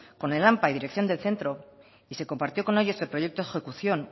con el ampa y dirección del centro y se compartió con ellos el proyecto ejecución